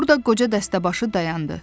Burda qoca dəstəbaşı dayandı.